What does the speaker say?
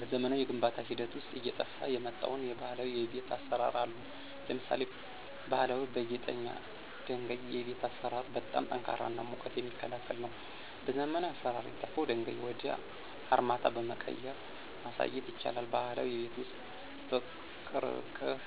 በዘመናዊ የግንባታ ሂደት ውስጥ አየጠፍ የመጣው የባህላዊ የቤት አሰራር አሉ። ለምሳሌ ባሀላዊ በጊጠኛ ድንጋይ የቤት አሰራር በጣም ጠንካራ እና ሙቀት የሚክላከል ነው። በዘመናዊ አሰራር የጠፍው ድንጋዩ ወደ አርማታ በመቀየራ ማሳየት ይቻላል። ባህላዊ የቤት ውስጥ በቅርቅህ